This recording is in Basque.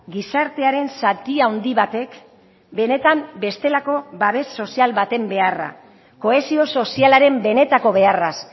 gizartearen zati handi batek benetan bestelako babes sozial baten beharra kohesio sozialaren benetako beharraz